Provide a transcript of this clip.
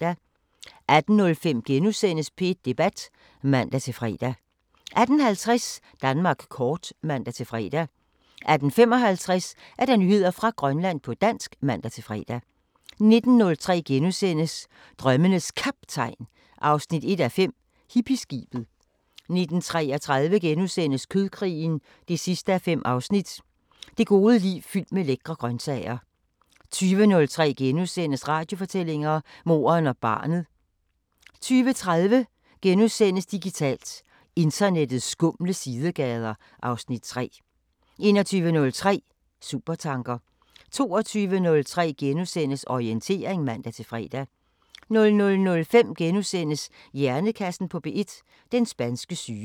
18:05: P1 Debat *(man-fre) 18:50: Danmark kort (man-fre) 18:55: Nyheder fra Grønland på dansk (man-fre) 19:03: Drømmenes Kaptajn 1:5 – Hippieskibet * 19:33: Kødkrigen 5:5 – Det gode liv fyldt med lækre grøntsager * 20:03: Radiofortællinger: Moren og barnet * 20:30: Digitalt: Internettets skumle sidegader (Afs. 3)* 21:03: Supertanker 22:03: Orientering *(man-fre) 00:05: Hjernekassen på P1: Den spanske syge *